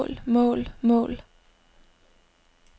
mål mål mål